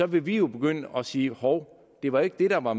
vil vi jo begynde at sige hov det var ikke det der var